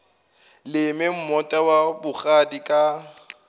leme moota wa bogadi ka